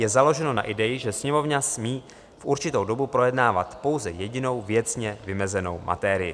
Je založeno na ideji, že Sněmovna smí v určitou dobu projednávat pouze jedinou věcně vymezenou materii.